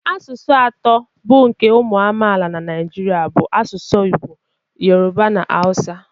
Asụsụ atọ bụ nke ụmụ amaala na Naịjirịa bụ asụsụ Igbo, Yoruba na Hausa